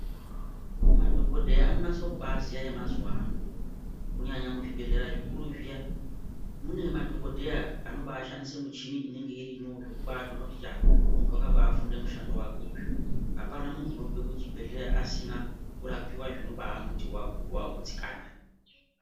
Madhogodheya anonase kubaziya vemazuvaya ano kunyanya muzvibhedhleya zvikuru zviya. Mune madhogodheya anobashandise michini inenge irimwo zvokubatoona kuti yaa muntu vakabafunde mushando vake uyu. Hapana muntu unobve kuchibhedhleya asina kurapiva zvinobamuti vagu vagutsikana.